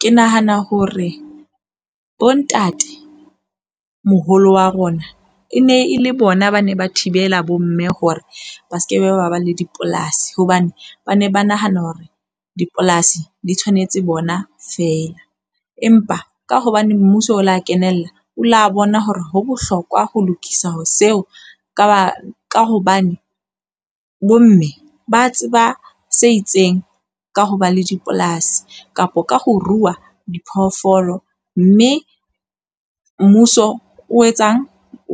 Ke nahana hore bontatemoholo wa rona e ne e le bona, ba ne ba thibela bomme hore ba sekebe ba ba le dipolasi. Hobane ba ne ba nahana hore dipolasi di tshwanetse bona feela. Empa ka hobane mmuso o la kenella, o la bona hore ho bohlokwa ho lokisa ho seo ka ba ka hobane bomme ba tseba se itseng ka ho ba le dipolasi kapo ka ho rua diphoofolo. Mme mmuso o etsang?